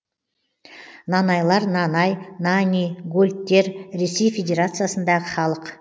нанайлар нанай нани гольдтер ресей федерациясындағы халық